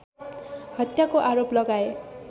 हत्याको आरोप लगाए